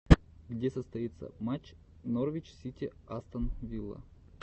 где состоится матч норвич сити астон вилла